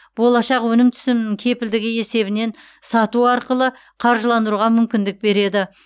болашақ өнім түсімінің кепілдігі есебінен сату арқылы қаржыландыруға мүмкіндік береді